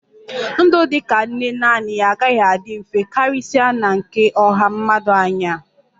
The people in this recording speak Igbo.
Ndụ dị ka nne naanị ya agaghị adị mfe, karịsịa na nke ọha mmadụ anyị a